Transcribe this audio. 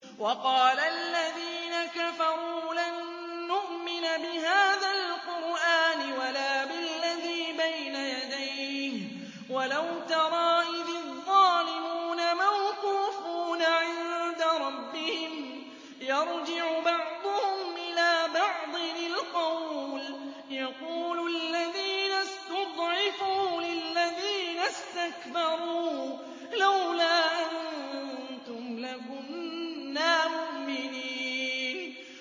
وَقَالَ الَّذِينَ كَفَرُوا لَن نُّؤْمِنَ بِهَٰذَا الْقُرْآنِ وَلَا بِالَّذِي بَيْنَ يَدَيْهِ ۗ وَلَوْ تَرَىٰ إِذِ الظَّالِمُونَ مَوْقُوفُونَ عِندَ رَبِّهِمْ يَرْجِعُ بَعْضُهُمْ إِلَىٰ بَعْضٍ الْقَوْلَ يَقُولُ الَّذِينَ اسْتُضْعِفُوا لِلَّذِينَ اسْتَكْبَرُوا لَوْلَا أَنتُمْ لَكُنَّا مُؤْمِنِينَ